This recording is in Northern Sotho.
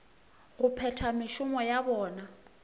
go phetha mešomo ya bona